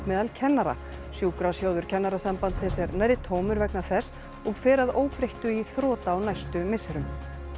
meðal kennara sjúkrasjóður Kennarasambandsins er nærri tómur vegna þess og fer að óbreyttu í þrot á næstu misserum